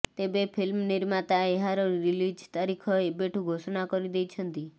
ତେବେ ଫିଲ୍ମ ନିର୍ମାତା ଏହାର ରିଲିଜ ତାରିଖ ଏବେଠୁ ଘୋଷଣା କରିଦେଇଛନ୍ତି